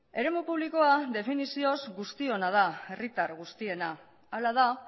eremu publikoa definizioz guztiona da herritar guztiena hala da